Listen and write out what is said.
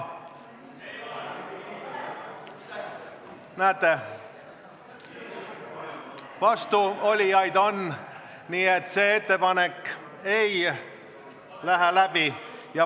Näete, vastuolijaid on, nii et see ettepanek ei lähe läbi.